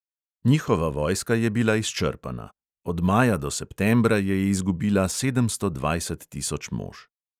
Njihova vojska je bila izčrpana: od maja do septembra je izgubila sedemsto dvajset tisoč mož.